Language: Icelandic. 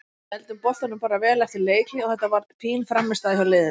Við héldum boltanum bara vel eftir leikhlé og þetta var fín frammistaða hjá liðinu.